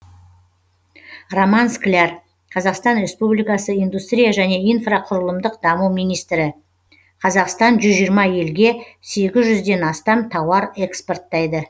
роман скляр қазақстан республикасы индустрия және инфрақұрылымдық даму министрі қазақстан жүз жиырма елге сегіз жүзден астам тауар экспорттайды